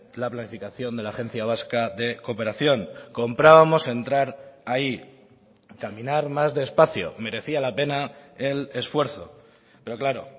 la planificación de la agencia vasca de cooperación comprábamos entrar ahí caminar más despacio merecía la pena el esfuerzo pero claro